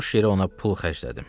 Boş yerə ona pul xərclədim.